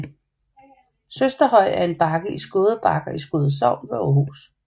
Søsterhøj er en bakke i Skåde Bakker i Skåde Sogn ved Aarhus